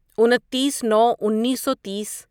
انتیس نو انیسو تیس